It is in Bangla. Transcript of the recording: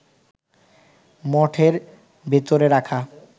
মঠের ভেতরে রাখা